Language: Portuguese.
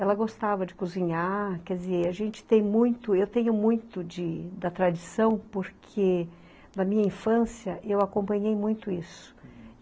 Ela gostava de cozinhar, quer dizer, a gente tem muito, eu tenho muito de, da tradição, porque na minha infância eu acompanhei muito isso.